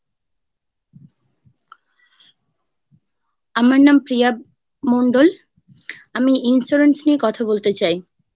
আমার নাম প্রিয়া মণ্ডল। আমি insurance নিয়ে কথা বলতে চাই।